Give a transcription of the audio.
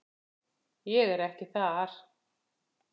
Ég er ekki þar.